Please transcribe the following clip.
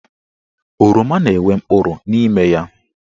Oroma na-enwe mkpụrụ n'ime ya.